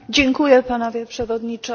Panowie Przewodniczący!